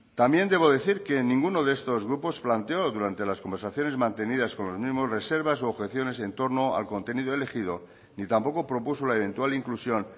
también debo decir que ninguno de estos grupos planteó durante las conversaciones mantenidas con los mismos reservas u objeciones en torno al contenido elegido ni tampoco propuso la eventual inclusión